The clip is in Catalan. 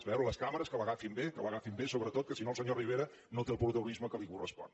a veure les càmeres que l’agafin bé que l’agafin bé sobretot que si no el senyor rivera no té el protagonisme que li correspon